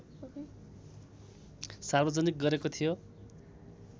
सार्वजनिक गरेको थियो